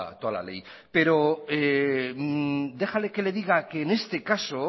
toda la ley pero déjeme que le diga que en este caso